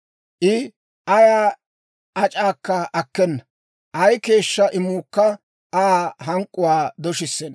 I ayaa ac'aakka akkena; ay keeshshaa imuukka Aa hank'k'uwaa doshissenna.